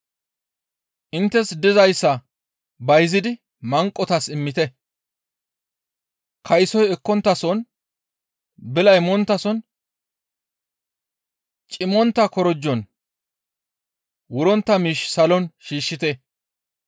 Inttes dizayssa bayzidi manqotas immite; kaysoy ekkonttason, bilay monttason, cimmontta korojon wurontta miish salon shiishshite.